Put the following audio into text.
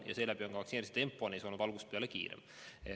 Tänu sellele on vaktsineerimise tempo neis olnud algusest peale kiirem.